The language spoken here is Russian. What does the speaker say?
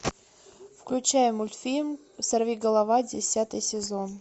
включай мультфильм сорвиголова десятый сезон